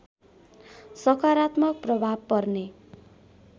सकारात्मक प्रभाव पर्ने